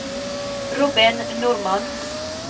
Robin Normann